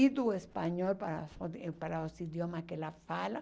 E do espanhol para a fora eh para os idiomas que ela fala.